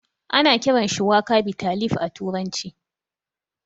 Ana kiran shuwaka bitter leaf a turanci